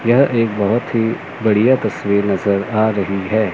यह एक बहुत ही बढ़िया तस्वीर नजर रही है।